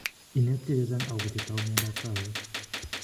Inetkei chechang akopo chetau miondap kawek